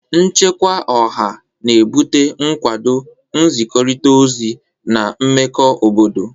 Nchekwa Ọha na-ebute nkwado, nzikọrịta ozi, na mmekọ obodo.